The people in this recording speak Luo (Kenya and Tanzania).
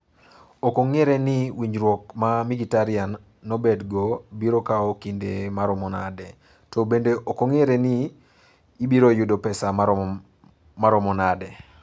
Ok ong'ere ni winjruok ma Mkhitaryan nobedgo biro kawo kinde maromo nade, to bende ok ong'ere ni obiro yudo pesa maromo nade.